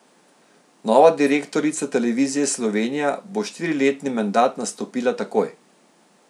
Nova direktorica Televizije Slovenija bo štiriletni mandat nastopila takoj.